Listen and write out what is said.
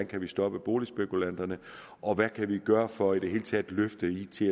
kan stoppe boligspekulanterne og hvad vi kan gøre for i det hele taget at løfte it